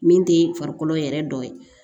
Min tɛ farikolo yɛrɛ dɔ ye